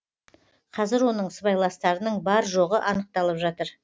қазір оның сыбайластарының бар жоғы анықталып жатыр